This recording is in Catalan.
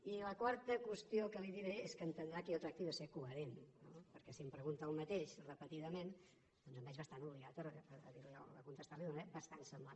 i la quarta qüestió que li diré és que entendrà que jo tracti de ser coherent no perquè si em pregunta el mateix repetidament doncs em veig bastant obligat a contestar li d’una manera bastant semblant